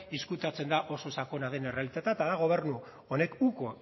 ezkutatzen da oso sakona den errealitatea eta da gobernu honek uko